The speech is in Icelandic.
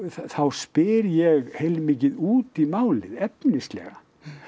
þá spyr ég heilmikið út í málið efnislega